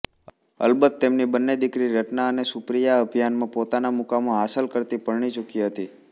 અલબત્ત તેમની બંને દીકરી રત્ના અને સુપ્રિયાઅભિનયમાં પોતાના મુકામો હાંસલ કરતી પરણી ચૂકી હતી